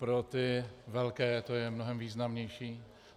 Pro ty velké to je mnohem významnější.